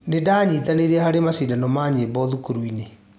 Ndĩranyitanĩire harĩ macindano ma nyĩmbo thukuru-inĩ.